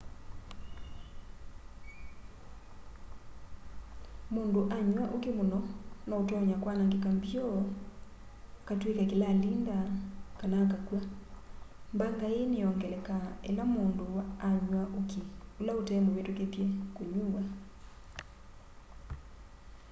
mundu anywa uki muno no utonya kwanangika mbio akatwika kilalinda kana akakwa.mbanga ii niyongelekaa ila msundu anya uki ula utemvitukithye kunyuwa